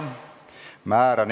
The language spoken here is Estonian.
Head õhtut kõigile!